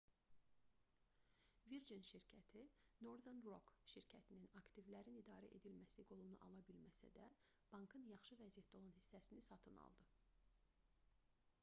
virgin şirkəti northern rock şirkətinin aktivlərin idarə edilməsi qolunu ala bilməsə də bankın yaxşı vəziyyətdə olan hissəsini satın aldı